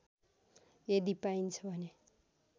यदि पाइन्छ भने